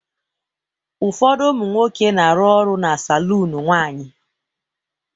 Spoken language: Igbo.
ụfọdụ ụmụ nwoke na-arụ ọrụ na saloon nwanyị